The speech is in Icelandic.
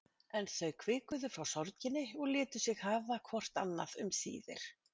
En þau hvikuðu frá sorginni og létu sig hafa hvort annað um síðir.